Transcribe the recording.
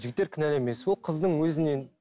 жігіттер кінәлі емес ол қыздың өзінен